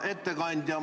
Hea ettekandja!